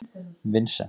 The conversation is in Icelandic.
Vincent